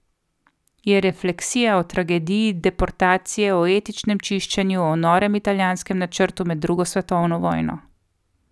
Je refleksija o tragediji deportacije, o etničnem čiščenju, o norem italijanskem načrtu med drugo svetovno vojno.